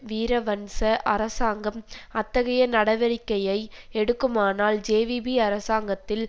வீரவன்ச அரசாங்கம் அத்தகைய நடவடிக்கையை எடுக்குமானால் ஜேவிபி அரசாங்கத்தில்